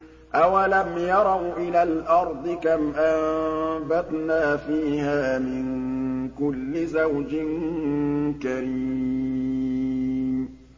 أَوَلَمْ يَرَوْا إِلَى الْأَرْضِ كَمْ أَنبَتْنَا فِيهَا مِن كُلِّ زَوْجٍ كَرِيمٍ